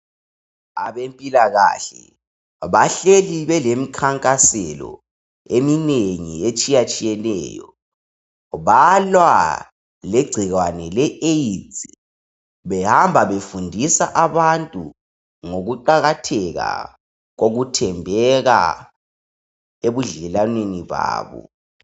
Abempilakahle bahleli belemkhankaselo eminengi etshiye tshiyeneyo balwa legcikwane le Aids behamba befundisa abantu ngokuqakatheka kokuthembeka ebudlelwaneni babo